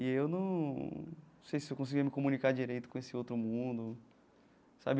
E eu não sei se eu conseguia me comunicar direito com esse outro mundo sabe.